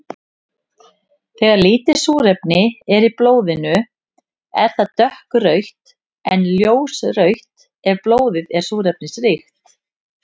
Þegar lítið súrefni er í blóðinu er það dökkrautt en ljósrautt ef blóðið er súrefnisríkt.